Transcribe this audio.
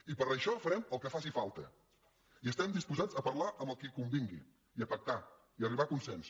i per això farem el que faci falta i estem disposats a parlar amb qui convingui i a pactar i a arribar a consens